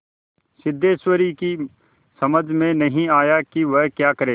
सिद्धेश्वरी की समझ में नहीं आया कि वह क्या करे